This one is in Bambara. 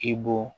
I bɔ